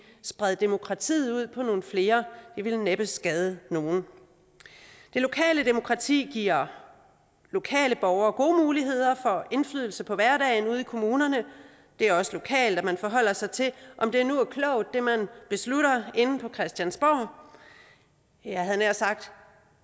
spred demokratiet ud på nogle flere det ville næppe skade nogen det lokale demokrati giver lokale borgere gode muligheder for indflydelse på hverdagen ude i kommunerne det er også lokalt at man forholder sig til om det nu er klogt hvad man beslutter inde på christiansborg jeg havde nær sagt